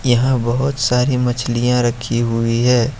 यहा बहोत सारी मछलियां रखी हुई है।